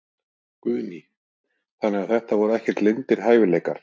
Guðný: Þannig að þetta voru ekkert leyndir hæfileikar?